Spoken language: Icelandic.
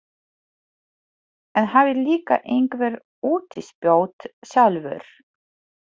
En hafið líka einhver útispjót sjálfur.